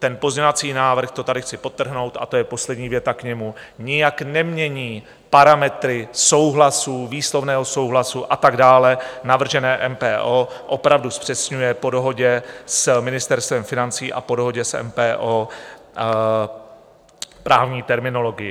Ten pozměňovací návrh, to tady chci podtrhnout, a to je poslední věta k němu, nijak nemění parametry souhlasu, výslovného souhlasu a tak dále, navržené MPO opravdu zpřesňuje po dohodě s Ministerstvem financí a po dohodě s MPO právní terminologii.